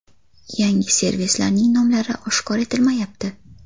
Yangi servislarning nomlari oshkor etilmayapti.